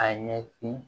A ɲɛsin